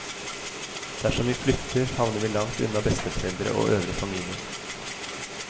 Dersom vi flytter, havner vi langt unna besteforeldre og øvrig familie.